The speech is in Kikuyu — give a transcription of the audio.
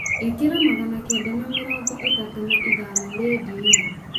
ĩkĩra magana kenda na mĩrongo ĩtatũ na ithano rĩndiũ-inĩ